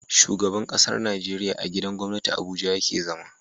Shugaban ƙasar Nigeria a gidan gwamnati abuja yake zama